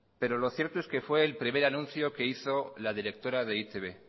pero lo cierto es que fue el primer anuncio que hizo la directora de e i te be